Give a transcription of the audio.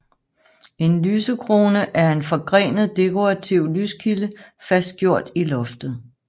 En lysekrone er en forgrenet dekorativ lyskilde fastgjort i loftet